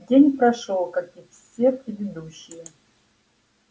день прошёл как и все предыдущие